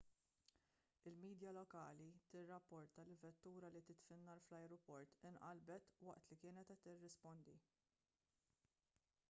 il-midja lokali tirrapporta li vettura li titfi n-nar fl-ajruport inqalbet waqt li kienet qed tirrispondi